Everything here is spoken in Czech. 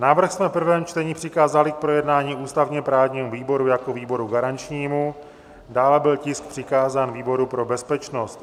Návrh jsme v prvém čtení přikázali k projednání ústavně-právnímu výboru jako výboru garančnímu, dále byl tisk přikázán výboru pro bezpečnost.